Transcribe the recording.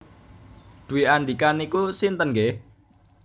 Dwi Andika niku sinten nggeh?